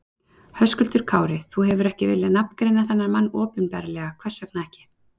Höskuldur Kári: Þú hefur ekki viljað nafngreina þennan mann opinberlega, hvers vegna ekki?